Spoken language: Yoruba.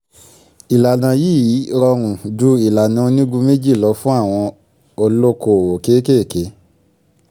ìlànà yìí rọrùn jù ìlànà onígun méjì lọ fún àwọn olókòwò kéékèèké.